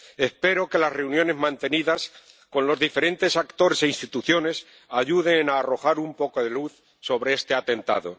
Espero que las reuniones mantenidas con los diferentes actores e instituciones ayuden a arrojar un poco de luz sobre este atentado.